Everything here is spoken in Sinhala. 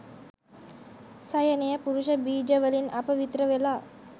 සයනය පුරුෂ බීජ වලින් අපවිත්‍ර වෙලා